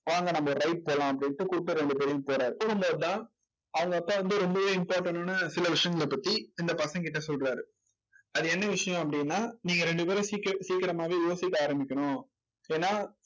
வாங்க நம்ம ஒரு ride போலாம் அப்படின்னு கூப்பிட்டு ரெண்டு பேரையும் போறார் அவங்க அப்பா வந்து ரொம்பவே important ஆன சில விஷயங்களைப் பத்தி இந்த பசங்ககிட்ட சொல்றாரு அது என்ன விஷயம் அப்படின்னா நீங்க ரெண்டு பேரும் சீக்கிர சீக்கிரமாவே யோசிக்க ஆரம்பிக்கணும் ஏன்னா